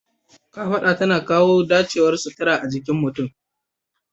Kafaɗa tana kawo dacewar sutura a jikin mutum.